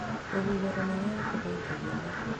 Rũhuho rũnene nĩ rũgũithagia marigũ.